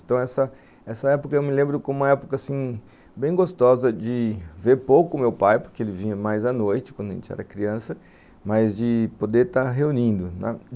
Então, essa essa época eu me lembro como uma época, assim, bem gostosa de ver pouco o meu pai, porque ele vinha mais à noite, quando a gente era criança, mas de poder estar reunindo.